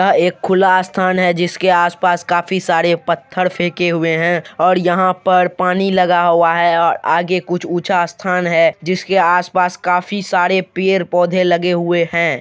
यह एक खुला स्थान है जिसके आसपास काफी सारे पत्थर फेके हुए हैं और यहां पर पानी लगा हुआ है और आगे कुछ ऊंचा स्थान है जिसके आसपास काफी सारे पेड़-पौधे लगे हुए हैं।